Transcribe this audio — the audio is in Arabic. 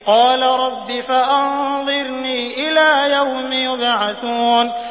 قَالَ رَبِّ فَأَنظِرْنِي إِلَىٰ يَوْمِ يُبْعَثُونَ